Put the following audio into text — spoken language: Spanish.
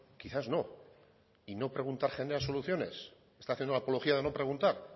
quizás no y no preguntar genera soluciones está haciendo apología de no preguntar